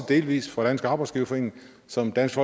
delvist fra dansk arbejdsgiverforening som dansk